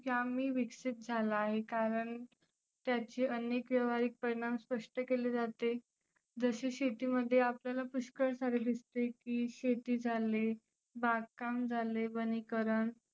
जामी विकसीत झाला आहे कारण त्याचे अनेक व्यवहारीक परिनाम स्पष्ट केले जाते. जसं शेतीमध्ये आपल्याला पुष्कळ सारं दिसते की शेती झाली बागकाम झाले वनीकरण.